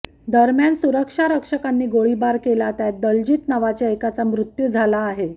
दरम्यान सुरक्षारक्षकांनी गोळीबार केला त्यात दलजीत नावाच्या एकाचा मृत्यू झाला आहे